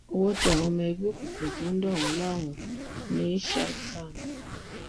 ọwọ tẹ àwọn ọmọ ẹgbẹ òkùnkùn tó ń dà wọn láàmú ní ṣgámù